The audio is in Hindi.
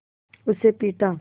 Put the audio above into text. उसे पीटा